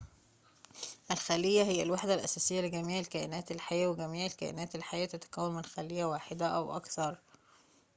الخلية هي الوحدة الأساسية لجميع الكائنات الحية وجميع الكائنات الحية تتكون من خلية واحدة أو أكثر